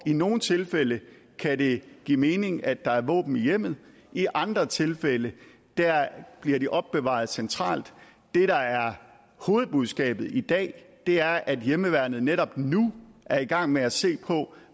i nogle tilfælde kan det give mening at der er våben i hjemmet i andre tilfælde bliver de opbevaret centralt det der er hovedbudskabet i dag er at hjemmeværnet netop nu er i gang med at se på